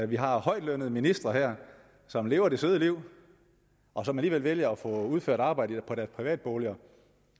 vi har højtlønnede ministre som lever det søde liv og som alligevel vælger at få udført arbejde på deres privatboliger